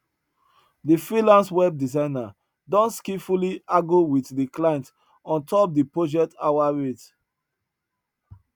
de freelance web designer don skillfully wit de client on top de project hour rate